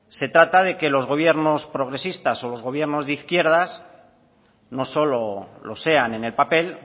se trata de que los gobiernos progresistas o los gobiernos de izquierdas no solo lo sean en el papel